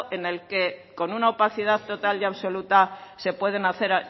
en el que con una opacidad total y absoluta se pueden hacer